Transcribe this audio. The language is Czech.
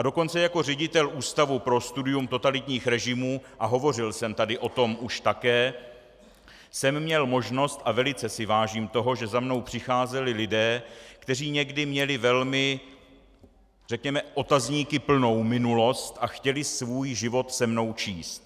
A dokonce jako ředitel Ústavu pro studium totalitních režimů, a hovořil jsem tady o tom už také, jsem měl možnost, a velice si vážím toho, že za mnou přicházeli lidé, kteří někdy měli velmi, řekněme, otazníky plnou minulost a chtěli svůj život se mnou číst.